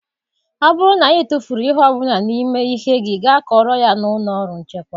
Ọ bụrụ na ị tụfuru ihe ọ bụla n'ime ihe gị gaa kọọrọ ya n'ụlọ ọrụ nchekwa.